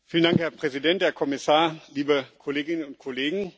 Herr Präsident, Herr Kommissar, liebe Kolleginnen und Kollegen!